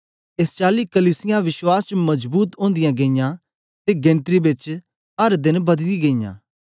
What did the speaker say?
एस चाली कलीसियां विश्वास च मजबूत ओदीयां गेईयां ते गिनत्री बेच अर देन बददीयां गेईयां